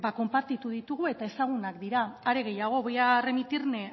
konpartitu ditugu eta ezagunak dira are gehiago voy a remitirme